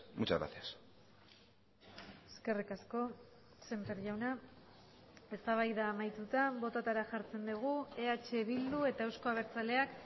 muchas gracias eskerrik asko sémper jauna eztabaida amaituta bototara jartzen dugu eh bildu eta euzko abertzaleak